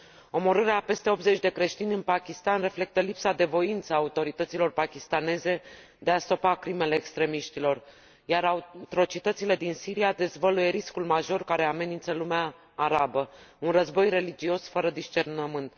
Omorârea a peste 80 de creștini în Pakistan reflectă lipsa de voință a autorităților pakistaneze de a stopa crimele extremiștilor, iar atrocitățile din Siria dezvăluie riscul major care amenință lumea arabă un război religios fără discernământ.